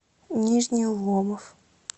нижний ломов